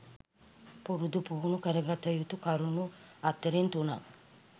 පුරුදු පුහුණු කරගත යුතු කරුණු අතරෙන් තුනක්